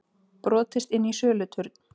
Brotist inn í söluturn